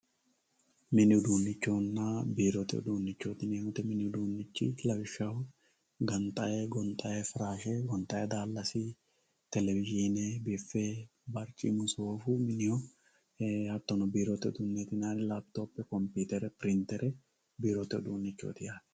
Mini udunichonna biirote uduunichooti yinani woyite, mini uduunichi lawishaho gonxayi firashe gonxayi daalasi televisione bife bariccimu soofu miniho, hatono biirote uduunichi yinayiri, lapitophe, computere, pirinitere biirote uduunichoti yaate.